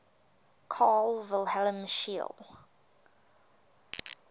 carl wilhelm scheele